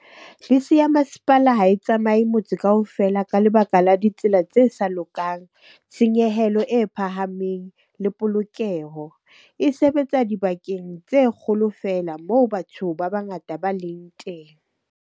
Bese ya masepala ha e tsamaye motse kaofela, ka lebaka la ditsela tse sa lokang, tshenyehelo e phahameng le polokeho. E sebetsa dibakeng tse kgolo feela moo batho ba bangata ba leng teng.